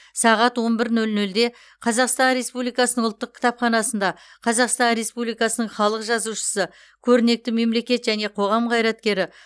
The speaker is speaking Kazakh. сағат он бір нөл нөлде қазақстан республикасының ұлттық кітапханасында қазақстан республикасының халық жазушысы көрнекті мемлекет және қоғам қайраткері